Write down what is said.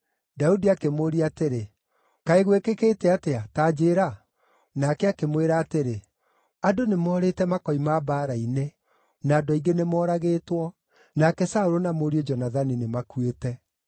Daudi akĩmũũria atĩrĩ, “Kaĩ gwĩkĩkĩte atĩa? Ta njĩĩra.” Nake akĩmwĩra atĩrĩ, “Andũ nĩmorĩte makoima mbaara-inĩ. Na andũ aingĩ nĩmooragĩtwo. Nake Saũlũ na mũriũ Jonathani nĩmakuĩte.”